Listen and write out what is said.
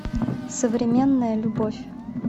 современная любовь